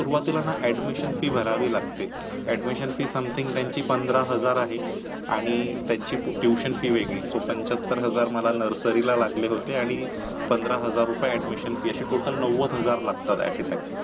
Admission fees something तयांची पंधरा हजार आहे, तयांच tuition fee वेगळी सो पंचतर हजार मला nursery ला लागले होते आणी पंधरा हजार अशी total नवध हजार रुपये लागता at a time